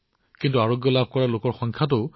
আপুনি সময়মতে গৈ থাককক জীৱন ৰক্ষা কৰি থাকক